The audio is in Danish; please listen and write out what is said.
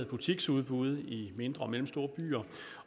butiksudbud i mindre og mellemstore byer